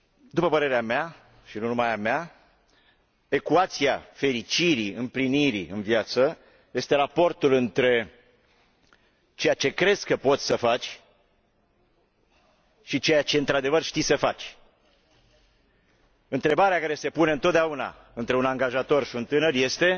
După părerea mea și nu numai a mea ecuația fericirii, împlinirii în viață este raportul între ceea ce crezi că poți să faci și ceea ce într adevăr știi să faci. Întrebarea care se pune întotdeauna între un angajator și un tânăr este